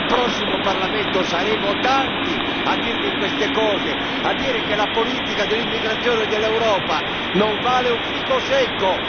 Nel prossimo Parlamento saremo in tanti a ribadire queste cose, a dire che la politica dell'immigrazione dell'Europa non vale un fico secco.